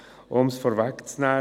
Um es vorwegzunehmen: